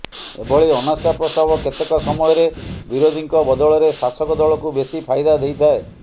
ଏଭଳି ଅନାସ୍ଥା ପ୍ରସ୍ତାବ କେତେକ ସମୟରେ ବିରୋଧୀଙ୍କ ବଦଳରେ ଶାସକ ଦଳକୁ ବେଶି ଫାଇଦା ଦେଇଥାଏ